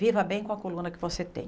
Viva bem com a coluna que você tem.